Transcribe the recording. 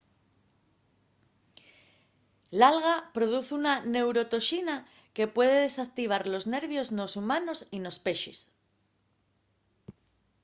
l’alga produz una neurotoxina que puede desactivar los nervios nos humanos y nos pexes